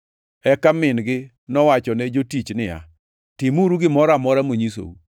Eka min-gi nowachone jotich niya, “Timuru gimoro amora monyisou.”